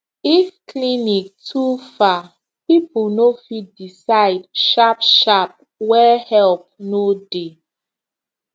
if clinic too far people no fit decide sharp shtarp where help no dey